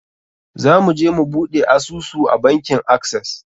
Za mu je mu buɗe asusu a bankin Access.